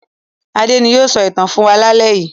Adé ni yóò sọ ìtàn fún wa lálẹ́ yìí.